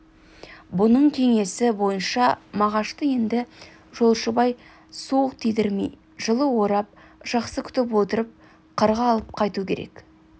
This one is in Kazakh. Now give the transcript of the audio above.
бұның кеңесі бойынша мағашты енді жолшыбай суық тидірмей жылы орап жақсы күтіп отырып қырға алып қайту керек